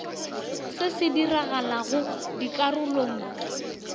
se se sa diragalego dikarolong